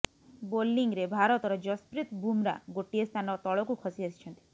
ବୋଲିଂରେ ଭାରତର ଯଶପ୍ରୀତ ବୁମ୍ରା ଗୋଟିଏ ସ୍ଥାନ ତଳକୁ ଖସି ଆସିଛନ୍ତି